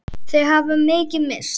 Þau hafa mikið misst.